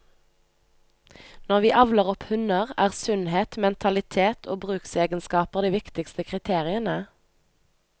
Når vi avler opp hunder, er sunnhet, mentalitet og bruksegenskaper de viktigste kriteriene.